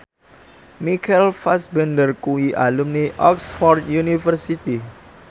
Michael Fassbender kuwi alumni Oxford university